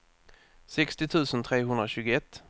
sextio tusen trehundratjugoett